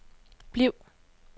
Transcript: bliv